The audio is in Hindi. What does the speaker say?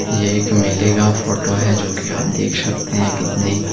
यह एक मेले का फोटो है जो कि आप देख सकते हैं कितने--